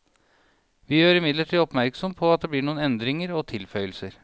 Vi gjør imidlertid oppmerksom på at det blir noen endringer og tilføyelser.